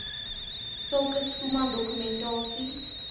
sulke schoeman dokumentasie